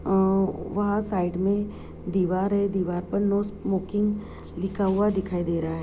अ वह साइड में दीवार है दीवार पर नो स्मोकिंग लिखा हुआ दिखाई दे रहा है।